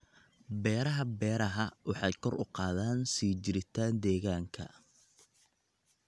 Beeraha Beeraha waxay kor u qaadaan sii jiritaan deegaanka.